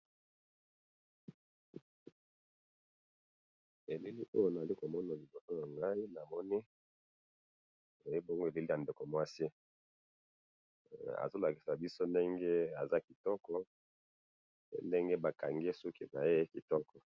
Elili oyo nazali komona liboso na ngai namoni ezali bongo elenge ya ndeko mwasi azo lakisa biso ndenge azali kitoko ndenge bakangi suki naye kitoko